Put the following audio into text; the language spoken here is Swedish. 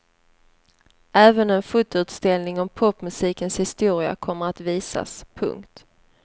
Även en fotoutställning om popmusikens historia kommer att visas. punkt